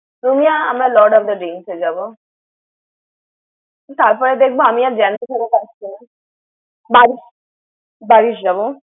রুমিয়া আমরা Lord of the Drinks এ যাবো। তারপরে দেখব আমি আর জ্যান্ত ফেরত আসছি নাহ। বারিশ বারিশ যাবো।